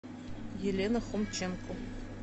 елена хомченко